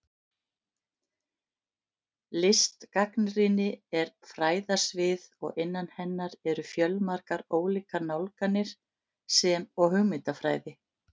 Listgagnrýni er fræðasvið og innan hennar eru fjölmargar ólíkar nálganir, sem og hugmyndafræði.